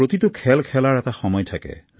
প্ৰতিটো খেল খেলাৰ এটা সময় থাকে